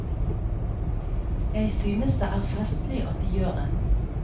Jeg synes det er festlig at de gjør det.